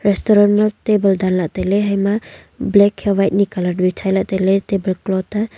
restaurant ma table danla tailey haima black hia white ni bichaila tailey table cloth ta.